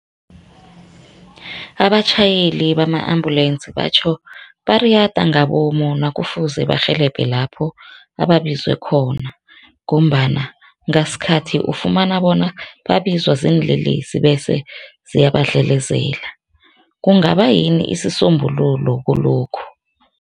Abatjhayeli bama-ambulensi batjho bayariyada ngabomu nakufuze barhabele lapho ababizwe khona ngombana ngasikhathi ufumana bona babizwa ziinlelesi bese ziyabadlelezela. Kungaba yini isisombululo kulokhu?